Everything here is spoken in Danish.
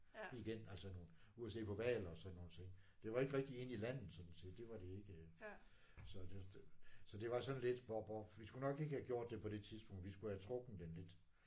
Igen altså nogen ud at se på hvaler og sådan nogle ting. Det var ikke rigtig inde på landet sådan set det var de ikke. Så det var så det var sådan lidt bop bop vi skulle nok ikke have gjort det på det tidspunkt vi skulle have trukken den lidt